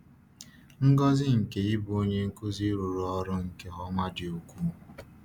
um Ngọzi nke ịbụ onye nkuzi rụrụ ọrụ nke ọma dị ukwuu.